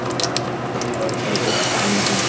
hvernig endaði fótboltaæfingin